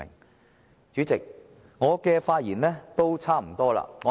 代理主席，我的發言差不多要結束。